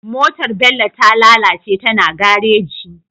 Motar bello ta lalace tana gareji